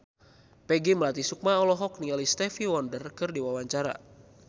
Peggy Melati Sukma olohok ningali Stevie Wonder keur diwawancara